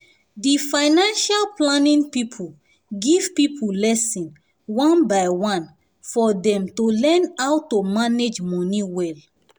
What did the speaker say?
di financial planning people give people lessons on by one for dem to learn how to manage money well.